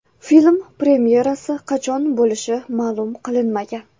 Film premyerasi qachon bo‘lishi ma’lum qilinmagan.